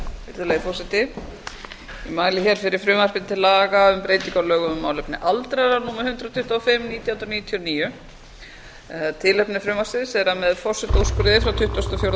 virðulegi forseti ég mæli hér fyrir frumvarpi til laga um breytingu á lögum um málefni aldraðra númer hundrað tuttugu og fimm nítján hundruð níutíu og níu tilefni frumvarpsins er að með forsetaúrskurði frá tuttugasta og fjórða